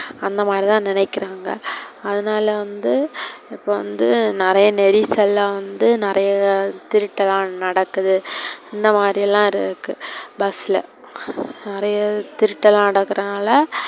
அந்த மாதிரி தான் நினைக்குறாங்க, அதுனால வந்து இப்போ வந்து நெறைய நெரிசல்லாம் வந்து நெறைய திருட்டுலா நடக்குது. இந்த மாதிரிலாம் இருக்கு bus ல நெறைய திருட்டு லாம் நடக்குறனாள,